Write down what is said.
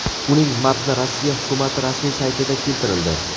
Uning matni Rossiya hukumati rasmiy saytida keltirildi .